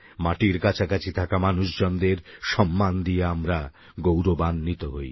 মাটির কাছাকাছি থাকা মানুষজনদের সম্মান দিয়ে আমরা গৌরবান্বিত হই